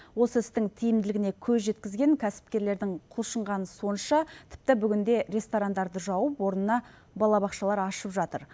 осы істің тиімділігіне көз жеткізген кәсіпкерлердің құлшынғаны сонша тіпті бүгінде ресторандарды жауып орнына балабақшалар ашып жатыр